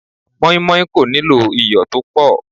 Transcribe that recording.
Moinmoin kò nílò iyọ̀ tó pọ̀.